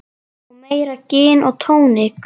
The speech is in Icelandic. Og meira gin og tónik.